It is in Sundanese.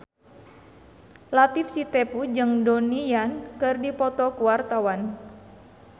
Latief Sitepu jeung Donnie Yan keur dipoto ku wartawan